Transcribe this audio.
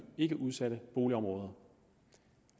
ikkeudsatte boligområder og